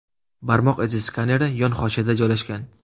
Barmoq izi skaneri yon hoshiyada joylashgan.